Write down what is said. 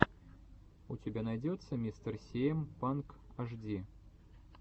у тебя найдется мистер сиэм панк ашди